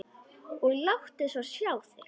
Og láttu svo sjá þig.